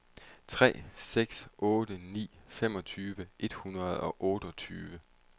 tre seks otte ni femogtyve et hundrede og otteogtyve